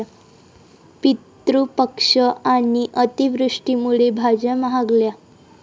पितृपक्ष आणि अतिवृष्टीमुळे भाज्या महागल्या